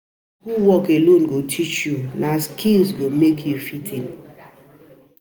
Life no get manual, na experience dey show you how to handle am.